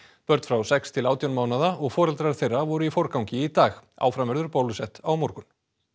börn frá sex til átján mánaða og foreldrar þeirra voru í forgangi í dag áfram verður bólusett á morgun